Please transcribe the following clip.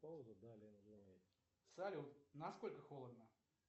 салют насколько холодно